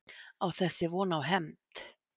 Á þessi von á hefnd?